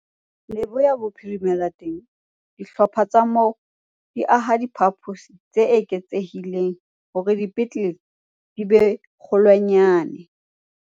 Leboya Bophirimela teng, dihlopha tsa moo di aha diphaposi tse eketsehileng hore dipetlele di be kgolwanyane.